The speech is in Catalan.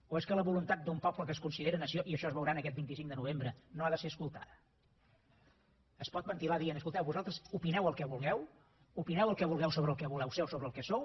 o és que la voluntat d’un poble que es considera nació i això es veurà aquest vint cinc de novembre no ha de ser escoltada es pot ventilar dient escolteu vosaltres opineu el que vulgueu opineu el que vulgueu sobre el que voleu ser o sobre el que sou